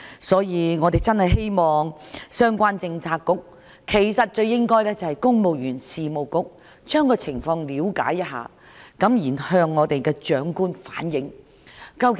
所以，我們真的希望相關政策局——應該是公務員事務局——了解一下情況，然後向行政長官反映。